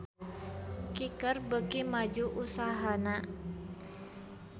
Kicker beuki maju usahana